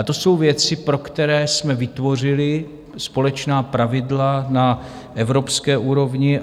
A to jsou věci, pro které jsme vytvořili společná pravidla na evropské úrovni.